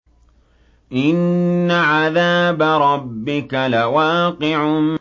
إِنَّ عَذَابَ رَبِّكَ لَوَاقِعٌ